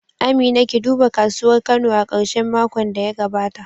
Amina, ki duba kasuwar Kano a karshen makon da ya gabata